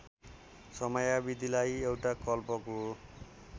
समयावधिलाई एउटा कल्पको